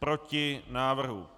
Proti návrhu.